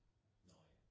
Nåh ja